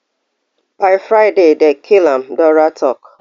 by friday dem kill am dora tok